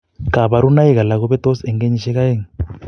Kabarunaik alak kobetos en kenyisiek aeng